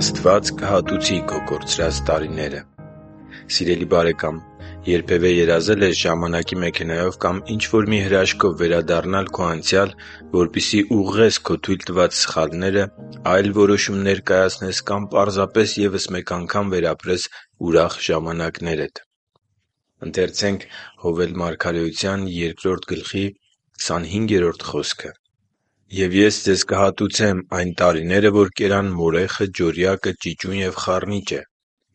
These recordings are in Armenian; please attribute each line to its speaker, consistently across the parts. Speaker 1: Աստված կհատուցի քո կորցրած տարիները Սիրելի՛ բարեկամ, երբևէ երազե՞լ ես ժամանակի մեքենայով կամ ինչ-որ մի հրաշքով վերադառնալ քո անցյալ, որպեսզի ուղղես քո թույլ տված սխալները, այլ որոշումներ կայացնես կամ պարզապես ևս մեկ անգամ վերապրես ուրախ ժամանակներդ։ «Եվ Ես ձեզ կհատուցեմ այն տարիները, որ կերան մորեխը, ջորյակը, ճիճուն և խառնիճը,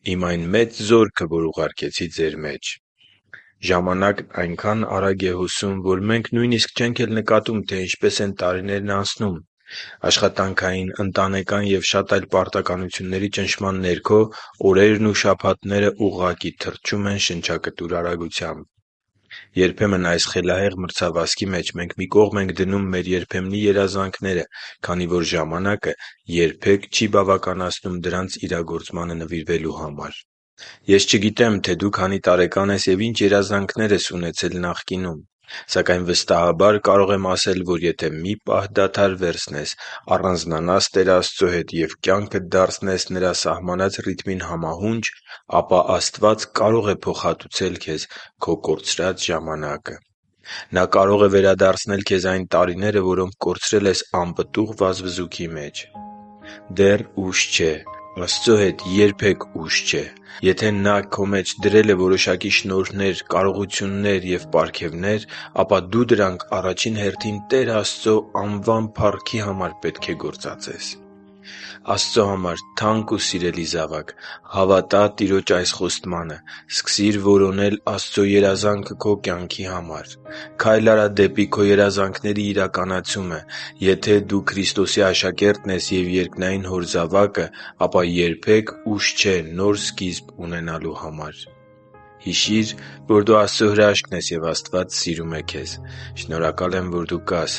Speaker 1: Իմ այն մեծ զորքը, որ ուղարկեցի ձեր մեջ» (Հովել 2․25)։ Ժամանակն այնքան արագ է հոսում, որ մենք նույնիսկ չենք էլ նկատում, թե ինչպես են տարիներն անցնում։ Աշխատանքային, ընտանեկան և շատ այլ պարտականությունների ճնշման ներքո օրերն ու շաբաթներն ուղղակի թռչում են շնչակտուր արագությամբ։ Երբեմն այս խելահեղ մրցավազքի մեջ մենք մի կողմ ենք դնում մեր երբեմնի երազանքները, քանի որ ժամանակը երբեք չի բավականացնում դրանց իրագործմանը նվիրվելու համար։ Ես չգիտեմ՝ դու քանի տարեկան ես և ինչ երազանքներ ես ունեցել նախկինում։ Սակայն վստահաբար կարող եմ ասել, որ եթե մի պահ դադար վերցնես, առանձնանաս Տեր Աստծո հետ և կյանքդ դարձնես Նրա սահմանած ռիթմին համահունչ, ապա Աստված կարող է փոխհատուցել քո կորցրած ժամանակը։ Նա կարող է վերադարձնել քեզ այն տարիները, որոնք կորցրել ես անպտուղ վազվզուքի մեջ։ Դեռ ուշ չէ։ Աստծո հետ երբե՛ք ուշ չէ։ Եթե Նա քո մեջ դրել է որոշակի շնորհներ, կարողություններ ու պարգևներ, ապա դու դրանք առաջին հերթին Տեր Աստծո անվան փառքի համար պետք է գործածես։ Աստծո համար թանկ ու սիրելի՛ զավակ, հավատա՛ Տիրոջ այս խոստմանը։ Սկսի՛ր որոնել Աստծո երազանքը քո կյանքի համար։ Քա՛յլ արա դեպի քո երազանքների իրականացումը։ Եթե դու Քրիստոսի աշակերտն ես և երկնային Հոր զավակը, ապա երբե՛ք ուշ չէ նոր սկիզբ ունենալու համար։ Հիշի՛ր, որ դու Աստծո հրաշքն ես, և Աստված սիրում է քեզ։ Շնորհակալ եմ, որ դու կա՛ս